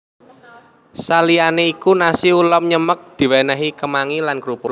Saliyanè iku nasi ulam nyemek diwènèhi kemangi lan krupuk